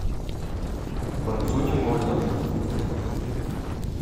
борцу не больно